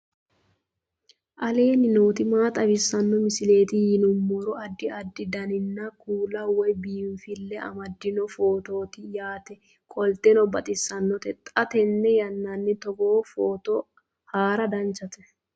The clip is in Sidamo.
aleenni nooti maa xawisanno misileeti yinummoro addi addi dananna kuula woy biinfille amaddino footooti yaate qoltenno baxissannote xa tenne yannanni togoo footo haara danchate